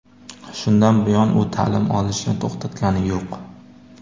Shundan buyon u ta’lim olishni to‘xtatgani yo‘q.